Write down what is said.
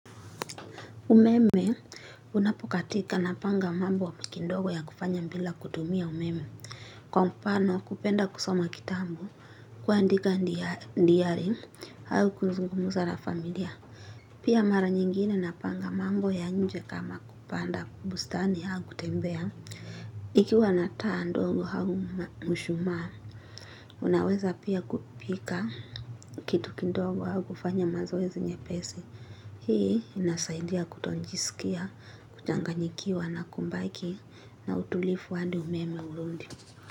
Umeme unapo katika napanga mambo wa kindogo ya kufanya mbila kutumia umeme kwa mpano kupenda kusoma kitambu kuandika ndiyari hau kuzungumuza na familia. Pia mara nyingine napanga mambo ya nje kama kupanda bustani hau kutembea. Ikiwa na taa ndongo hau mshuma unaweza pia kupika kitu kindogo hau kufanya mazoezi nyepesi. Hii inasaidia kutonjisikia, kuchanganyikiwa na kumbaki na utulifu handi umeme urundi.